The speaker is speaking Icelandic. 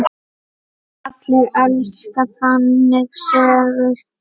Allir elska þannig sögur.